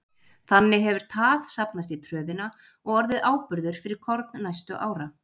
Þannig hefur tað safnast í tröðina og orðið áburður fyrir korn næstu ára.